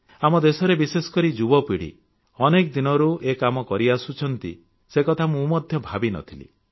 ଆମ ଦେଶରେ ବିଶେଷକରି ଯୁବପିଢ଼ି ଅନେକ ଦିନରୁ ଏ କାମ କରି ଆସୁଛନ୍ତି ସେ କଥା ମୁଁ ମଧ୍ୟ ଭାବିନଥିଲି